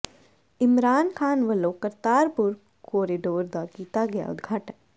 ਇਮਰਾਨ ਖਾਨ ਵੱਲੋਂ ਕਰਤਾਰਪੁਰ ਕੋਰੀਡੋਰ ਦਾ ਕੀਤਾ ਗਿਆ ਉਦਘਾਟਨ